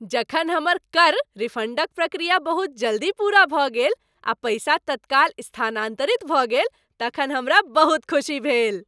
जखन हमर कर रिफंडक प्रक्रिया बहुत जल्दी पूरा भऽ गेल आ पैसा तत्काल स्थानांतरित भऽ गेल तखन हमरा बहुत खुशी भेल।